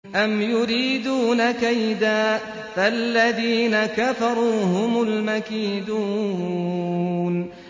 أَمْ يُرِيدُونَ كَيْدًا ۖ فَالَّذِينَ كَفَرُوا هُمُ الْمَكِيدُونَ